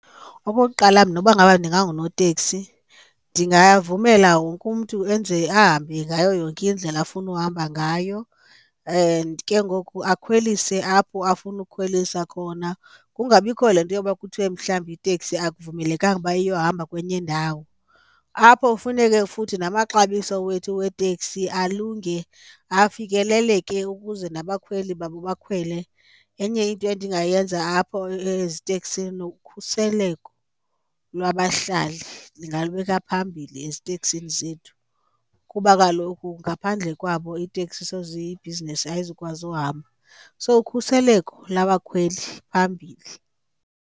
Okokuqala, mna uba ngaba ndingangunoteksi ndingavumela wonke umntu enze ahambe ngayo yonke indlela afuna uhamba ngayo and ke ngoku akhwelise apho afuna ukhwelisa khona. Kungabikho le nto yoba kuthwe mhlawumbi iteksi akuvumelekanga uba iyohamba kwenye indawo. Apho kufuneke futhi namaxabiso wethu weeteksi alunge afikeleleke ukuze nabakhweli babo bakhwele. Enye into endingayenza apho eziteksini, ukhuseleko lwabahlali ndingalubeka phambili eziteksini zethu kuba kaloku ngaphandle kwabo iiteksi soze, ibhizinesi ayizukwazi uhamba so ukhuseleko labakhweli phambili.